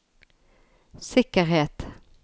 sikkerhet